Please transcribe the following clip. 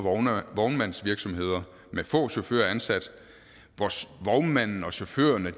vognmandsvirksomheder med få chauffører ansat hvor vognmanden og chaufførerne